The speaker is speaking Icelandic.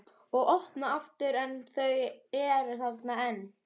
Og opna aftur en þau eru þarna enn.